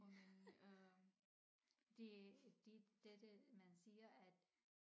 Og men øh det de dette man siger at